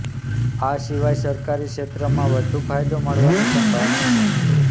આ સિવાય સરકારી ક્ષેત્રમાં વધુ ફાયદો મળવાની સંભાવના છે